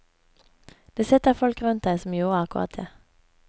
Det sitter folk rundt deg som gjorde akkurat det.